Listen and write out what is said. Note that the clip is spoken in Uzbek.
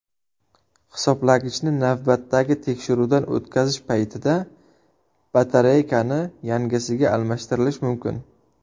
Hisoblagichni navbatdagi tekshiruvdan o‘tkazish paytida batareykani yangisiga almashtirilish mumkin.